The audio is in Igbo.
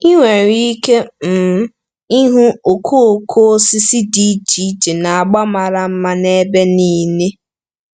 Ị nwere ike um ịhụ okooko osisi dị iche iche na agba mara mma n'ebe niile.